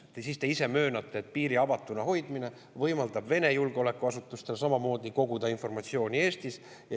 Ja siis te ise möönate, et piiri avatuna hoidmine võimaldab Vene julgeolekuasutustel samamoodi koguda informatsiooni Eestis.